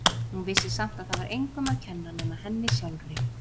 Hún vissi samt að það var engum að kenna nema henni sjálfri.